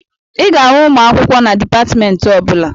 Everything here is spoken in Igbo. Ị ga-ahụ ụmụ akwụkwọ na dịpatmentị ọbụla